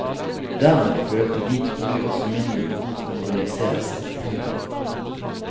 Dermed følte de trolig også mindre behov for å organisere seg. punktum